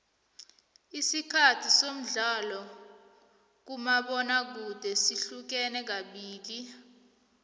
isikhathi somdlalo kamabona kude sihlukene kabili